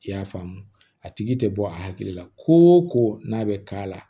I y'a faamu a tigi te bɔ a hakili la ko o ko n'a bɛ k'a la